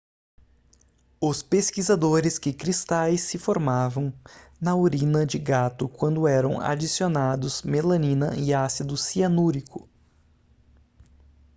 os pesquisadores que cristais se formavam na urina de gato quando eram adicionados melanina e ácido cianúrico